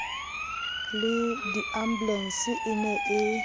le diambulense e ne e